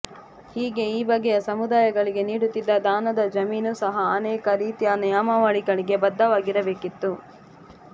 ಹೀಗೆ ಈ ಬಗೆಯ ಸಮುದಾಯಗಳಿಗೆ ನೀಡುತ್ತಿದ್ದ ದಾನದ ಜಮೀನು ಸಹ ಅನೇಕ ರೀತಿಯ ನಿಯಮಗಳಿಗೆ ಬದ್ಧವಾಗಿರಬೇಕಿತ್ತು